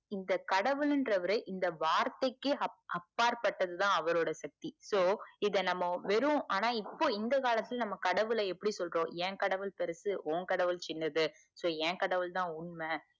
இந்த கடவுள்ன்றவருஇந்த வார்த்தைக்கு அப் அப்பார்பட்டதுதான் அவரோட சக்தி so இத நம்ம வெறும் ஆனா இப்போ இந்த காலத்துல நம்ம எப்புடி சொல்றோம் ஏன்கடவுள் பெருசு உன் கடவுள் சின்னது ஏன்கடவுள்தான் உண்மை